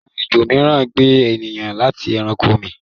awọn ejò míràn gbe ènìyàn ati ẹranko mi.